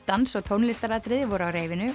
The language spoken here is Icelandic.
dans og tónlistaratriði voru á